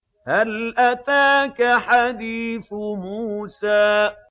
هَلْ أَتَاكَ حَدِيثُ مُوسَىٰ